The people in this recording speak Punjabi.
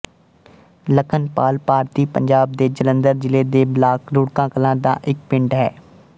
ਲਖਣ ਪਾਲ ਭਾਰਤੀ ਪੰਜਾਬ ਦੇ ਜਲੰਧਰ ਜ਼ਿਲ੍ਹੇ ਦੇ ਬਲਾਕ ਰੁੜਕਾ ਕਲਾਂ ਦਾ ਇੱਕ ਪਿੰਡ ਹੈ